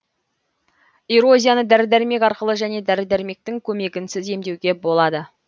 эрозияны дәрі дәрмек арқылы және дәрі дәрмектің көмегінсіз емдеуге болады